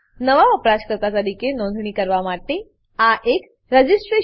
નવા વપરાશકર્તા તરીકે નોંધણી કરવા માટે આ એક રજિસ્ટ્રેશન ફોર્મ રજીસ્ટ્રેશન ફોર્મ છે